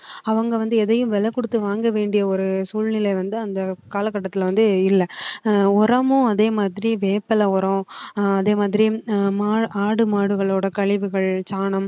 அவங்க வந்து எதையும் விலை கொடுத்து வாங்க வேண்டிய ஒரு சூழ்நிலை வந்து அந்த காலகட்டத்தில வந்து இல்ல அஹ் உரமும் அதே மாதிரி வேப்பிலை உரம் அதே மாதிரி ஆடு மாடுகளோட கழிவுகள் சாணம்